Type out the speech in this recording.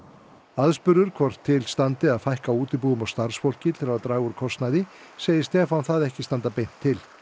aðspurður hvort til standi að fækka útibúum og starfsfólki til að draga úr kostnaði segir Stefán það ekki standa beint til